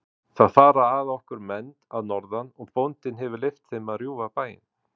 Það fara að okkur menn að norðan og bóndinn hefur leyft þeim að rjúfa bæinn.